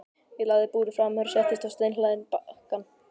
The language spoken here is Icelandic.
Ég lagði búrið frá mér og settist á steinhlaðinn bakkann.